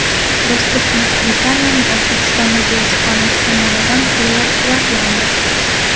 Dastur Buyuk Britaniyaning O‘zbekistondagi elchixonasi tomonidan qo‘llab-quvvatlandi.